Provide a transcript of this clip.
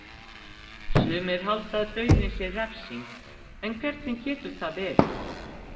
Sumir halda að dauðinn sé refsing en hvernig getur það verið?